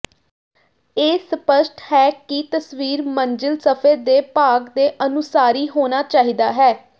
ਇਹ ਸਪਸ਼ਟ ਹੈ ਕਿ ਤਸਵੀਰ ਮੰਜ਼ਿਲ ਸਫ਼ੇ ਦੇ ਭਾਗ ਦੇ ਅਨੁਸਾਰੀ ਹੋਣਾ ਚਾਹੀਦਾ ਹੈ